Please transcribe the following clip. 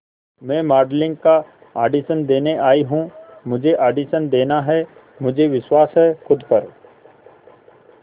मैं मॉडलिंग का ऑडिशन देने आई हूं मुझे ऑडिशन देना है मुझे विश्वास है खुद पर